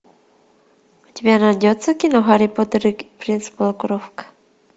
у тебя найдется кино гарри поттер и принц полукровка